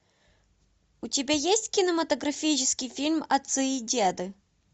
у тебя есть кинематографический фильм отцы и деды